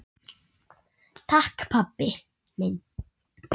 Takk pabbi minn.